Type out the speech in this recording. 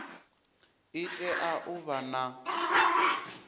i tea u vha na